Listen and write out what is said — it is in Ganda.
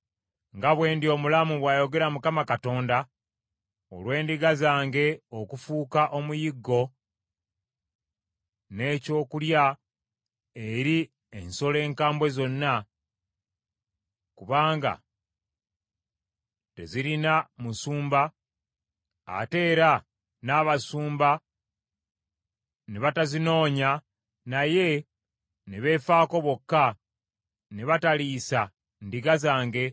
Nga bwe ndi omulamu, bw’ayogera Mukama Katonda, olw’endiga zange okufuuka omuyiggo, n’ekyokulya eri ensolo enkambwe zonna, kubanga tezirina musumba, ate era n’abasumba ne batazinoonya, naye ne beefaako bokka, ne bataliisa ndiga zange,